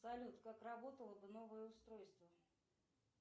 салют как работало бы новое устройство